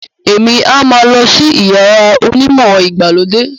Emi a má lọ sí iyàrá onimọ ìgbàlódé.